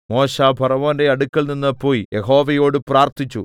മോശെ ഫറവോന്റെ അടുക്കൽനിന്ന് പോയി യഹോവയോട് പ്രാർത്ഥിച്ചു